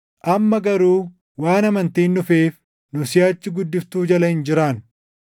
Amma garuu waan amantiin dhufeef nu siʼachi guddiftuu jala hin jiraannu.